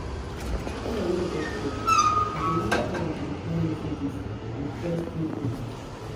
when i no get work i go use time to reply messages and press through posts